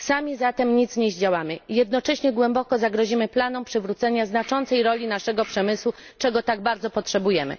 Sami zatem nic nie zdziałamy, jednocześnie głęboko zagrozimy planom przywrócenia znaczącej roli naszego przemysłu, czego tak bardzo potrzebujemy.